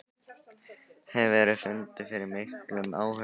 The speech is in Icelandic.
Hefurðu fundið fyrir miklum áhuga á slíku?